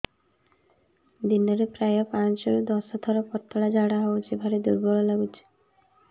ଦିନରେ ପ୍ରାୟ ପାଞ୍ଚରୁ ଦଶ ଥର ପତଳା ଝାଡା ହଉଚି ଭାରି ଦୁର୍ବଳ ଲାଗୁଚି